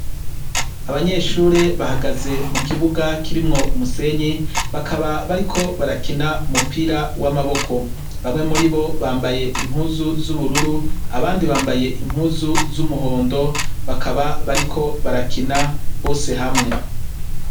Abanyeshure bahagaze mu kibuga kirimwo umusenyi bakaba bariko barakina umupira w'amaboko bamwe muri bo bambaye impuzu z'ubururu abandi bambaye impuzu z'umuhondo bakaba bariko barakina bose hamwe.